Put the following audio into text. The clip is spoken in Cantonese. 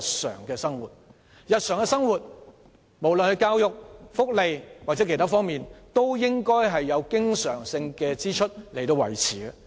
在日常生活中，無論是教育、福利或其他方面，均以經常性開支維持。